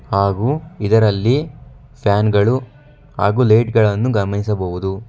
ಹಾಗು ಇದರಲ್ಲಿ ಫ್ಯಾನ್ ಗಳು ಹಾಗು ಲೈಟ್ ಗಳನ್ನು ಗಮನಿಸಬಹುದು.